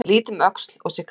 Ég lít um öxl og sé karl